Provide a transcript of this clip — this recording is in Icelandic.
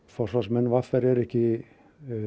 forsvarsmenn v r eru ekki